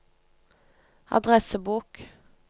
adressebok